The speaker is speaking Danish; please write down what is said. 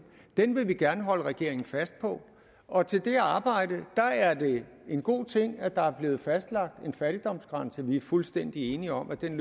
den vil vi gerne holde regeringen fast på og til det arbejde er det en god ting at der er blevet fastlagt en fattigdomsgrænse vi er fuldstændig enige om at den